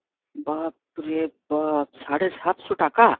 বাপরে বাপ সাড়ে সাতশো টাকা?